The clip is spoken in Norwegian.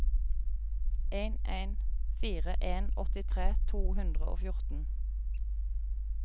en en fire en åttitre to hundre og fjorten